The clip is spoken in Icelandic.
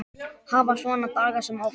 Hafa svona daga sem oftast.